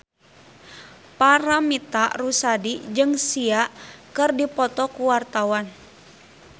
Paramitha Rusady jeung Sia keur dipoto ku wartawan